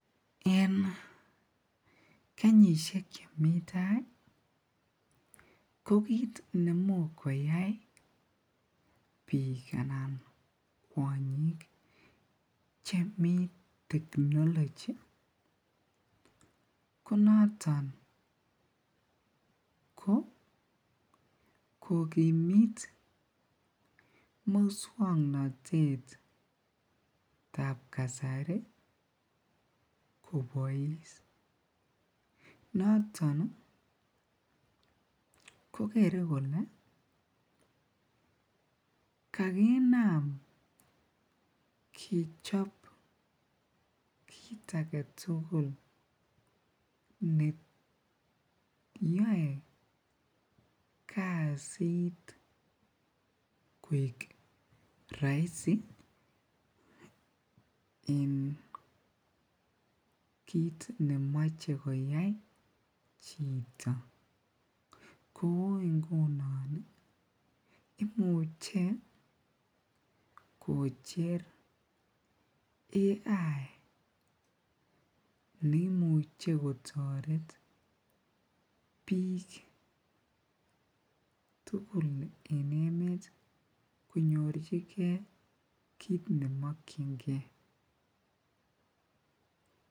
En kenyishek chemi taai ko kiit nemuch koyai biik anan kwonyik chemii technology konoton ko kokimit muswoknotetab kasari kobois, noton ko kere kolee kakinam kechob kiit aketukul neyoe kasit koik roisi en kiit nemoche koyai chito, kouu ingunon imuche kocher AI neimuche kotoret biik tukul en emet konyorchike kiit nemokyinge.